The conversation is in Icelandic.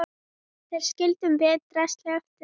Þar skildum við draslið eftir.